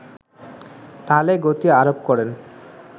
তালে গতি আরোপ করেন